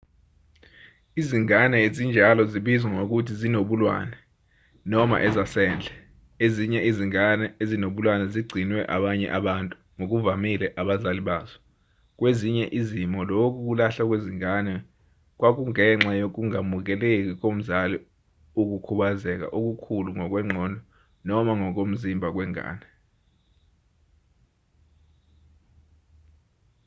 izingane ezinjalo zibizwa ngokuthi zinobulwane” noma ezasendle. ezinye izingane ezinobulwane zigcinwe abanye abantu ngokuvamile abazali bazo; kwezinye izimo lokhu kulahlwa kwezingane kwakungenxa yokungamukeli komzali ukukhubazeka okukhulu ngokwengqondo noma ngokomzimba kwengane